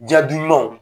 Ja dumanw